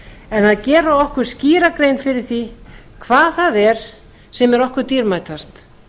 en að gera okkur skýra grein fyrir því hvað það er sem er okkur dýrmætast